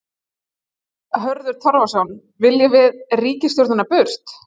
Hörður Torfason: Viljum við ríkisstjórnina burt?